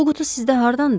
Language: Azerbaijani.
Bu qutu sizdə hardandır?